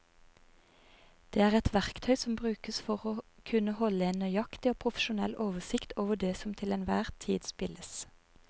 Det er et verktøy som brukes for å kunne holde en nøyaktig og profesjonell oversikt over det som til enhver tid spilles.